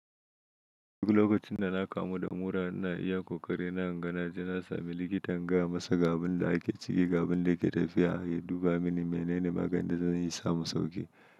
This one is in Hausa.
Duk lokacin da na kamu da mura, ina iya kokari na inga naji na sami likita in gaya masa gabin da ake ciki, gabin da yake tafiya ya duba mini menene maganin da zan yi samu sauƙi.